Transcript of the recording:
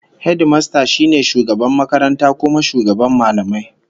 Hedimasta shi ne shugaban makaranta kuma shugaban mallamai